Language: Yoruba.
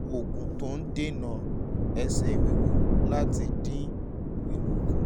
àwọn oògùn tó ń dènà ẹsẹ̀ wíwú láti dín wíwú kù